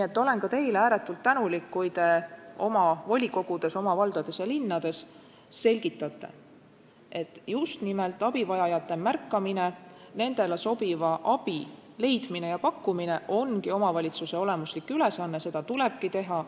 Ma olen ka teile ääretult tänulik, kui te oma volikogudes, oma valdades ja linnades selgitate, et just nimelt abivajajate märkamine, nendele sobiva abi leidmine ja pakkumine ongi omavalitsuse olemuslik ülesanne, seda tulebki teha.